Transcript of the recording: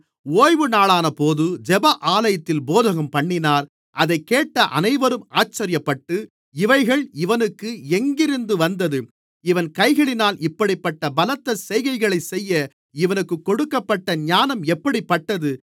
ஓய்வுநாளானபோது ஜெப ஆலயத்தில் போதகம்பண்ணினார் அதைக் கேட்ட அனைவரும் ஆச்சரியப்பட்டு இவைகள் இவனுக்கு எங்கிருந்து வந்தது இவன் கைகளினால் இப்படிப்பட்ட பலத்த செய்கைகளைச் செய்ய இவனுக்குக் கொடுக்கப்பட்ட ஞானம் எப்படிப்பட்டது